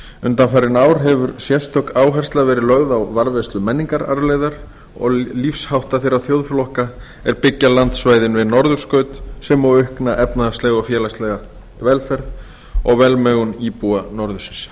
undanfarin ár hefur sérstök áhersla verið lögð á varðveislu menningararfleifðar og lífshátta þeirra þjóðflokka sem byggja landsvæðin við norðurskaut sem og aukna efnahagslega og félagslega velferð og velmegun íbúa norðursins